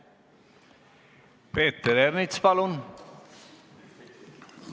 Peeter Ernits, palun!